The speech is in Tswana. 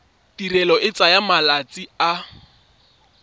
tirelo e tsaya malatsi a